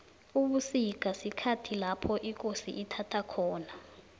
ubusika sikhathi lapho ikosi ithaba khona